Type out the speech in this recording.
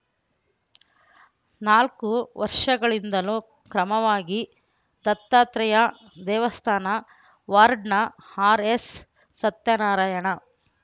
ನಾಲ್ಕು ವರ್ಷಗಳಿಂದಲೂ ಕ್ರಮವಾಗಿ ದತ್ತಾತ್ರೇಯ ದೇವಸ್ಥಾನ ವಾರ್ಡ್‌ನ ಆರ್‌ಎಸ್‌ಸತ್ಯನಾರಾಯಣ